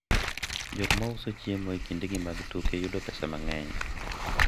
jok mauso chiemo e kinde gi mag tuke yudo pesa mang'eny